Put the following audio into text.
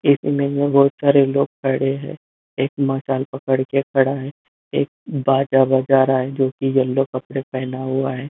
एक में बहुत सारे लोग खड़े हैं एक मसाल पकड़ के खड़ा है एक बाजा बजा रहा है जोकी येलो कपड़े पहना हुआ है।